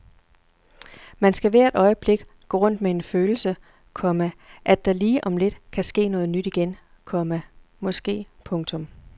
Man skal hvert øjeblik gå rundt med den følelse, komma at der lige om lidt kan ske noget nyt igen, komma måske. punktum